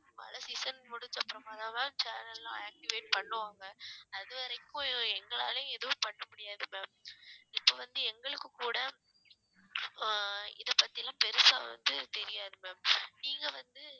மழை season முடிஞ்சப்புறமா தான் ma'am channel லாம் activate பண்ணுவாங்க அது வரைக்கும் எங்களாலையும் எதுவும் பண்ண முடியாது ma'am இப்ப வந்து எங்களுக்கு கூட அஹ் இதைப்பத்தி எல்லாம் பெருசா வந்து தெரியாது ma'am நீங்க வந்து